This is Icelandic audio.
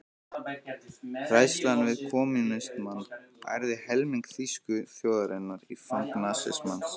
Hræðslan við kommúnismann ærði helming þýsku þjóðarinnar í fang nasismans.